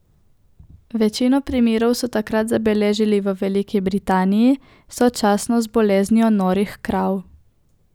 Večino primerov so takrat zabeležili v Veliki Britaniji, sočasno z boleznijo norih krav.